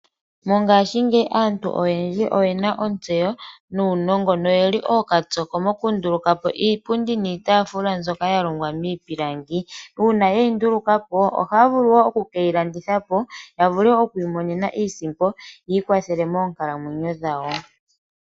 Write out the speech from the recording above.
Mongashingeyi aantu oyendji oyena ontseyo nuunongo noyeli okapyoko mokundulakopo iipundi niitafula mbyoka yalongwa miipilangi uuna yeyi ndulukapo ohaya vulu woo okukeyilandithapo yavule okumona iisimpo yi ikwathele moonkalamwenyo dhawo.